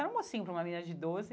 Era um mocinho para uma menina de doze.